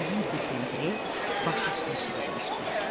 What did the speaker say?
Elə bil ki, nəhəng bir təndir başı üstünə çevrilmişdilər.